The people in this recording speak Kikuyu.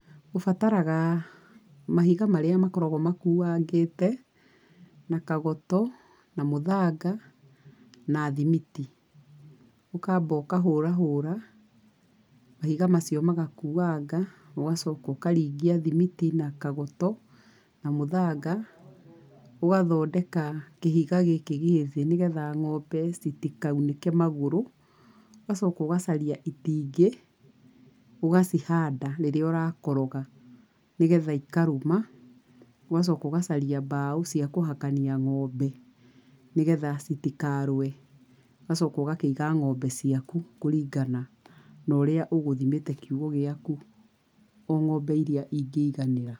Ũbataraga mahiga marĩa makoragwo makũangĩte, na kagoto, na mũthanga, na thimiti. Ũkamba ũkahũra hũra mahiga macio magakuanga, ũgacoka ũkaringia thimiti na kagoto, na mũthanga, ũgathondeka kĩhiga gĩkĩ gĩthĩ nĩgetha ng’ombe citikaunĩke magũrũ, ũgacoka ũgacaria itingĩ, ũgacihanda rĩrĩa ũrakoroga nĩgetha ikarũma, ũgacoka ũgacaria mbaũ ciakũhakania ng’ombe nĩgetha citikarũe, ũgacoka ũgakĩiga ng’ombe ciaku kũringana na ũrĩa ũgũthimĩte kiugũ gĩaku, o ng’ombe iria ingĩiganĩra.